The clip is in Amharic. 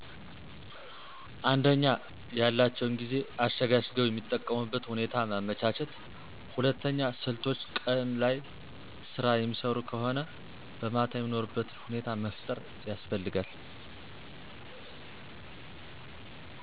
አንደኛ፦ ያላቸውን ጊዜ አሸጋሽገዉ የሚጠቀሙበት ሁኔታ ማመቻቸት ሁለተኛ፦ ስልቶች ቀን ላይ ስራ የሚሰሩ ከሆነ በማታ የሚማሩበትን ሁኔታ መፍጠር ያስፈልጋል።